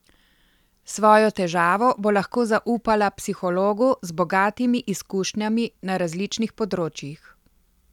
Svojo težavo bo lahko zaupala psihologu z bogatimi izkušnjami na različnih področjih.